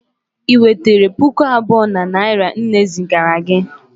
ị nwetere pụkụ abụọ na naira nne zigara gị